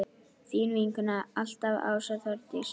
Þín vinkona alltaf, Ása Þórdís.